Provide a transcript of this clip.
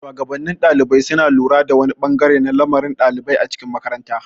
shuwagabannin ɗalibai suna lura da wani bangare na lamarin ɗalibai a cikin makaranta.